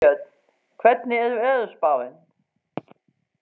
Ástbjörn, hvernig er veðurspáin?